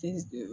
Ti